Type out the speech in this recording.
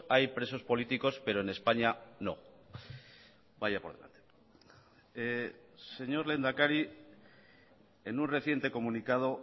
hay presos políticos pero en españa no vaya por delante señor lehendakari en un reciente comunicado